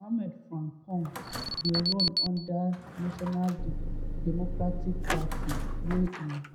mohammed frimpong dey run under di national democratic party wey e